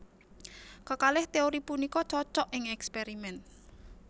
Kekalih téori punika cocok ing èkspèrimèn